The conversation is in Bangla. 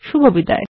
শুভবিদায়